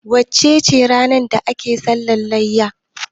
wacece rana ake sallah layya?